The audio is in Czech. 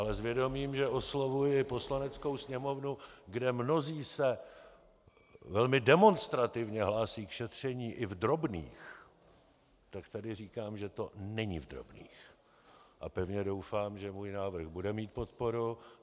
Ale s vědomím, že oslovuji Poslaneckou sněmovnu, kde mnozí se velmi demonstrativně hlásí k šetření i v drobných, tak tady říkám, že to není v drobných, a pevně doufám, že můj návrh bude mít podporu.